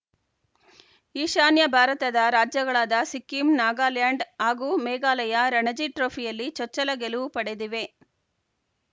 ಈಶಾನ್ಯ ಭಾರತದ ರಾಜ್ಯಗಳಾದ ಸಿಕ್ಕಿಂ ನಾಗಾಲ್ಯಾಂಡ್‌ ಹಾಗೂ ಮೇಘಾಲಯ ರಣಜಿ ಟ್ರೋಫಿಯಲ್ಲಿ ಚೊಚ್ಚಲ ಗೆಲುವು ಪಡೆದಿವೆ